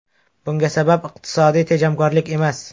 Bunga sabab iqtisodiy tejamkorlik emas.